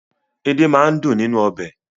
Edé máa ń dùn nínú ọbẹ̀.